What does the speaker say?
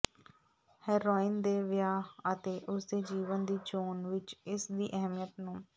heroin ਦੇ ਵਿਆਹ ਅਤੇ ਉਸ ਦੇ ਜੀਵਨ ਦੀ ਚੋਣ ਵਿਚ ਇਸ ਦੀ ਅਹਿਮੀਅਤ ਨੂੰ